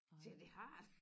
Siger jeg det har der